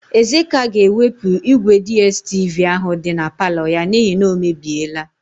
Ezeka ga-ewepụ ígwèDiestivi áhụ̀ dị na palọ ya n'ihi na o mebiela.